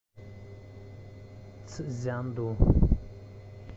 цзянду